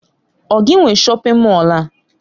Ọ gị nwe shọpin Mọll a?